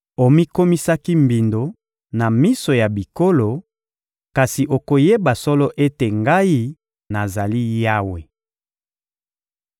Omikomisaki mbindo na miso ya bikolo, kasi okoyeba solo ete Ngai, nazali Yawe.›»